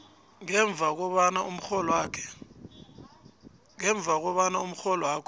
ngemva kobana umrholwakho